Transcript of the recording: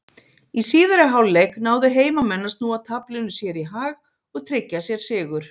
Í síðari hálfleik náðu heimamenn að snúa taflinu sér í hag og tryggja sér sigur.